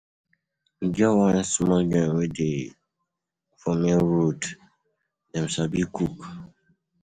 E get one small joint wey dey for main road, dem sabi cook.